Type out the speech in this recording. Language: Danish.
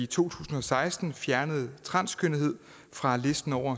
tusind og seksten fjernede transkønnethed fra listen over